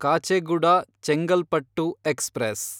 Kacheguda Chengalpattu express